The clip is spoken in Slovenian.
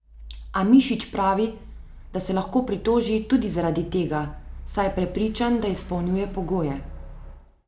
A Mišič pravi, da se lahko pritoži tudi zaradi tega, saj je prepričan, da izpolnjuje pogoje.